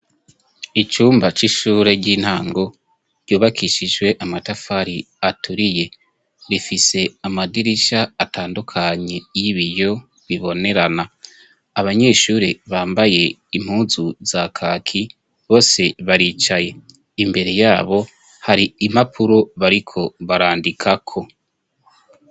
Icumba c'ishure ry'intango ryubakishijwe amatafari aturiye. Rifise amadirisha atandukanye y'ibiyo bibonerana. Abanyeshuri bambaye impuzu za kaki bose baricaye imbere yabo hari imapuro bariko barandikako.